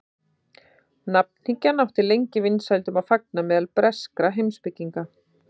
nafnhyggjan átti lengi vinsældum að fagna meðal breskra heimspekinga